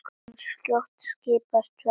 En skjótt skipast veður.